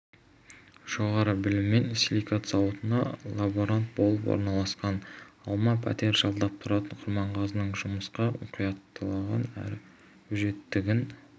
жоғары біліммен силикат зауытына лаборант болып орналасқан алма пәтер жалдап тұратын құрманғазының жұмысқа мұқияттығын әрі өжеттігін